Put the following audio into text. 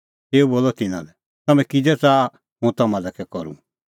तेऊ बोलअ तिन्नां लै तम्हैं किज़ै च़ाहा हुंह तम्हां लै कै करूं